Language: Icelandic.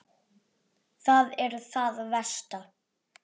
Það er það versta.